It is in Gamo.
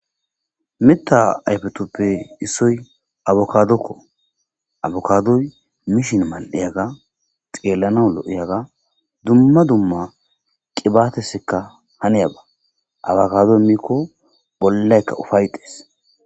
Mita ayfetoppe issoy abokadokko abokadoy mishin mal'eyaga xeellana lo'iyaga dumma dumma qibaatesekka haneyaba abakadoy miikko bollaykka ufay xees